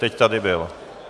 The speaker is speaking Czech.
Teď tady byl.